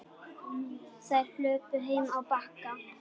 Þær hlupu heim á Bakka.